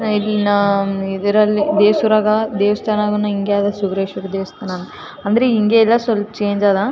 ಇಂದಿನ ಇದರಲ್ಲಿ ದೆಸೂರಗ ದೇವಸ್ಥಾನವು ಹಿಂಗೇ ಅದ ಸಿದ್ದೇಶ್ವರ ದೇವಸ್ಥಾನ ಅಂದ್ರೆ ಹಿಂಗೇ ಅಲ್ಲ ಸ್ವಲ್ಪ ಚೇಂಜ್ ಅದಾ .